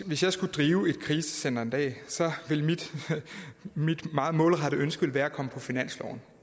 hvis jeg skulle drive et krisecenter en dag ville mit meget målrettede ønske være at komme på finansloven